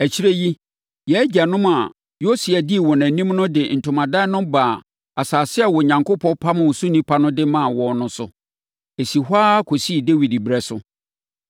Akyire yi, yɛn agyanom a Yosua dii wɔn anim no de ntomadan no baa asase a Onyankopɔn pamoo so nnipa de maa wɔn no so. Ɛsii hɔ ara kɔsii Dawid ɛberɛ so.